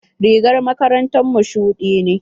Rigar makarantar mu shuɗi ne.